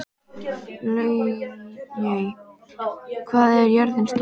Laugey, hvað er jörðin stór?